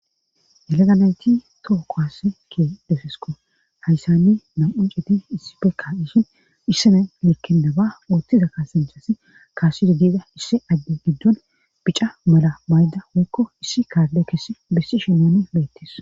Heleganayti too kowass ke defesko hayssanni nam'un citi issipekka ishin hissina lekkendaba uottiza kaasanchasi kaasido diida issi adde giddon bica mala maydda woykko issi kaalle kess bissi shimani beettis.